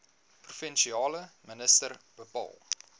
provinsiale minister bepaal